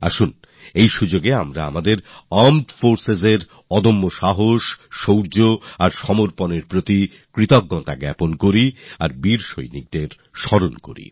আসুন এই উপলক্ষ্যে আমরা আমাদের আর্মড forcesএর অদম্য সাহস শৌর্য এবং সমর্পনভাবের প্রতি কৃতিজ্ঞতা জানাই এবিং বীর সৈনিকদের স্মরণ করি